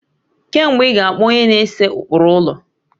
Kee mgbe ị ga akpọ onye na-ese ụkpụrụ ụlọ?